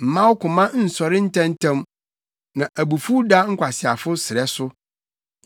Mma wo koma nsɔre ntɛmntɛm, na abufuw da nkwaseafo srɛ so.